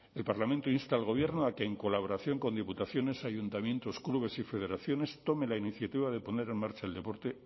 el parlamento insta al gobierno a que en colaboración con diputaciones ayuntamientos clubes y federaciones tome la iniciativa de poner en marcha el deporte